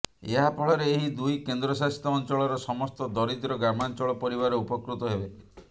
ଏହା ଫଳରେ ଏହି ଦୁଇ କେନ୍ଦ୍ର ଶାସିତ ଅଞ୍ଚଳର ସମସ୍ତ ଦରିଦ୍ର ଗ୍ରାମାଞ୍ଚଳ ପରିବାର ଉପକୃତ ହେବେ